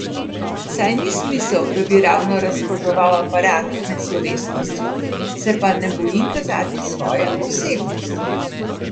Saj ni smisel, da bi ravno razkazoval aparat med slovesnostjo, se pa ne bojim kazati svoje osebnosti.